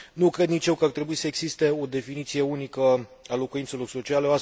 Nu cred nici eu că ar trebui să existe o definiție unică a locuințelor sociale